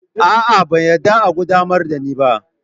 A'a, ban yarda a qaddamar da ni ba